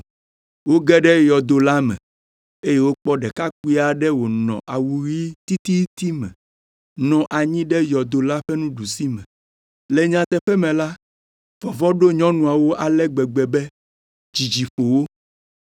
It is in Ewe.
Woge ɖe yɔdo la me eye wokpɔ ɖekakpui aɖe wònɔ awu ɣi tititi me, nɔ anyi ɖe yɔdo la ƒe ɖusime. Le nyateƒe me la, vɔvɔ̃ ɖo nyɔnuawo ale gbegbe be dzidzi ƒo wo.